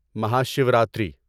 Mahashivratri